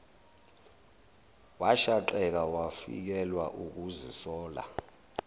washaqeka wafikelwa ukuzisola